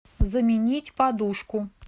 заменить подушку